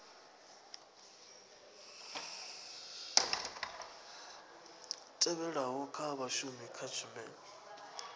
tevhelaho kha vhashumi vha tshumelo